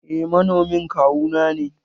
Eh manomin kawu nane.